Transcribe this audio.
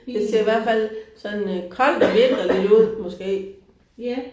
Det ser i hvert fald sådan øh koldt og vinterligt ud måske